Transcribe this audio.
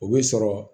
O bɛ sɔrɔ